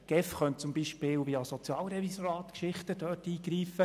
Die GEF könnte dort beispielsweise via Sozialrevisorat eingreifen.